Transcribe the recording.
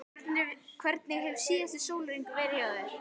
Hvernig hefur síðasti sólarhringur verið hjá þér?